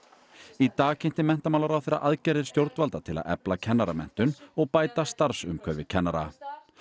í dag kynnti menntamálaráðherra aðgerðir stjórnvalda til að efla kennaramenntun og bæta starfsumhverfi kennara